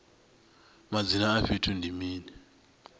madzina a fhethu ndi mini